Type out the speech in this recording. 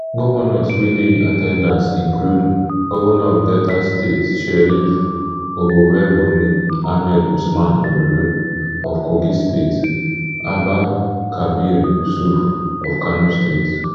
govnors wey dey in at ten dance include govnor of delta state sheriff oborevwori ahmed usman ododo of kogi state abba kabir yusuf of kano state